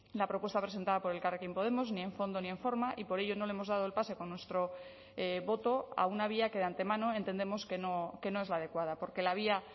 la propuesta presentada por elkarrekin podemos ni en fondo ni en forma y por ello no le hemos dado el pase con nuestro voto a una vía que de antemano entendemos que no es la adecuada porque la vía